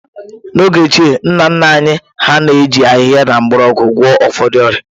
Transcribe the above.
N’oge ochie, nna nna anyị hà na-eji ahịhịa na mgbọrọgwụ gwọọ ụfọdụ ọrịa